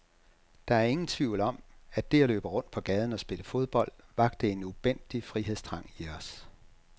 Der er ingen tvivl om, at det at løbe rundt på gaden og spille fodbold vakte en ubændig frihedstrang i os.